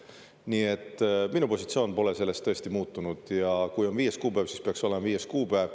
Nii et minu positsioon pole selles tõesti muutunud, ja kui on viies kuupäev, peaks olema viies kuupäev.